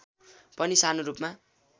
पनि सानो रूपमा